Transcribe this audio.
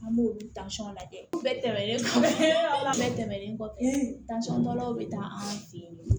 An b'olu lajɛ u bɛɛ tɛmɛnen tɛmɛnlen kɔfɛ tansɔnbaw bɛ taa an fɛ yen